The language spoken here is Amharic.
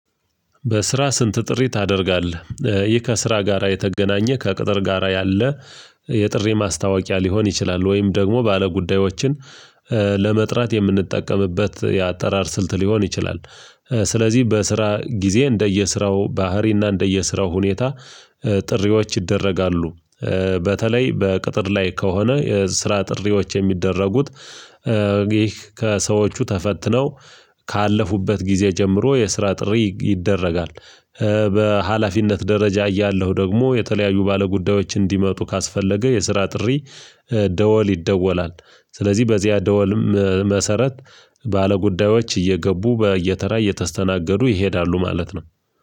በስራ ስንት ጥሪ ታደርጋለህ ይህ ከስራ ጋራ የተገናኘ ከቅጥር ጋራ ያለ የጥሪ ማስታወቂያ ሊሆን ይችላል ወይም ደግሞ ባለጉዳዮችን ለመጥራት የምንጠቀምበት የአጠራር ስልት ሊሆን ይችላል። ስለዚህ በስራ ጊዜ እንደየስራው ባህሪና እንደየስራው ሁኔታ ጥሪዎች ይደረጋሉ። በተለይ በቅጥር ላይ ከሆነ የስራ ጥሪዎች የሚደረጉት። ከሰዎቹ ተፈትነው ካለፉበት ጊዜ ጀምሮ የስራ ጥሪ ይደረጋል። በሃላፊነት ደረጃ እያለሁ ደግሞ የተለያዩ ባለጉዳዮች እንዲመጡ ካስፈለገ የስራ ጥሪ ደወል ይደወላል። ስለዚህ በዚያ ደወልም መሰረት ባለጉዳዮች እየገቡ በየተራ እየተስተናገዱ ይሄዳሉ ማለት ነው።